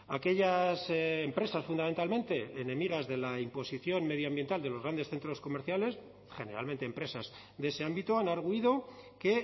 aquellas empresas fundamentalmente enemigas de la imposición medioambiental de los grandes centros comerciales generalmente empresas de ese ámbito han argüido que